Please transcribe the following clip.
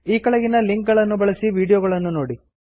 ಈ ಕೆಳಗಿನ ಲಿಂಕ್ ಗಳನ್ನು ಬಳಸಿ ವೀಡಿಯೋಗಳನ್ನು ನೋಡಿ